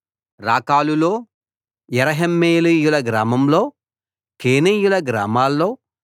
రాకాలులో యెరహ్మెయేలీయుల గ్రామాల్లో కేనీయుల గ్రామాల్లో